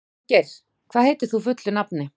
Fanngeir, hvað heitir þú fullu nafni?